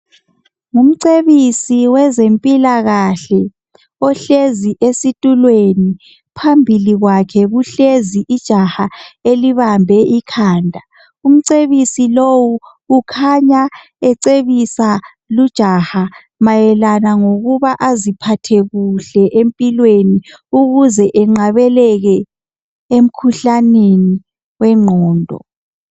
Ngumcebisi wezempilakahle. Ohlezi esitulweni. Phambili kwakhe kuhlezi ijaha elibambe ikhanda. Umcebisi lowu ukhanya ecebisa lujaha mayelana lokuthi aziphathe kuhle empilweni, ukuze engqabeleke emkhuhlaneni wengqondo.